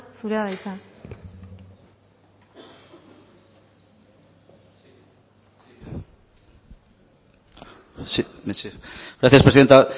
zurea da hitza gracias presidenta